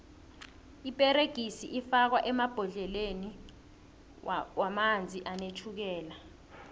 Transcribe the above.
iperegisi ifakwo emabhodleleni womanzi anetjhukela